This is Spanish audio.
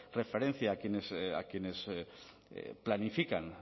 referencia a quienes planifican